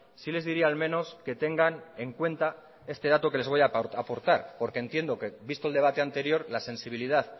sí les diría al menos que tengan en cuenta este dato que les voy a aportar porque entiendo que visto el debate anterior la sensibilidad